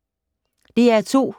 DR2